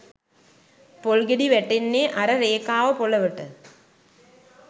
පොල් ගෙඩි වැටෙන්නේ අර රේඛාව පොළොවට